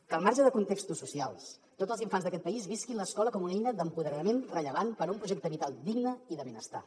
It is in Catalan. que al marge de contextos socials tots els infants d’aquest país visquin l’escola com una eina d’empoderament rellevant per a un projecte vital digne i de benestar